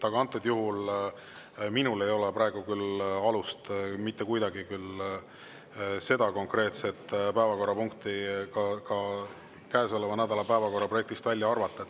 Aga antud juhul minul ei ole küll alust seda konkreetset päevakorrapunkti käesoleva nädala päevakorraprojektist kuidagi välja arvata.